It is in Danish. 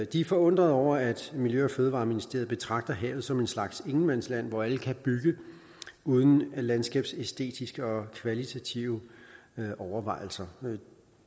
de er forundrede over at miljø og fødevareministeriet betragter havet som en slags ingenmandsland hvor alle kan bygge uden landskabsæstetiske og kvalitative overvejelser